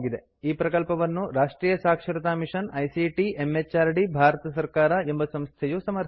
ಈ ಪ್ರಕಲ್ಪವನ್ನು ರಾಷ್ಟ್ರಿಯ ಸಾಕ್ಷರತಾ ಮಿಷನ್ ಐಸಿಟಿ ಎಂಎಚಆರ್ಡಿ ಭಾರತ ಸರ್ಕಾರ ಎಂಬ ಸಂಸ್ಥೆಯು ಸಮರ್ಥಿಸಿದೆ